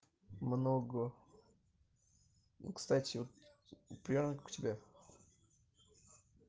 много ну кстати примерно как у тебя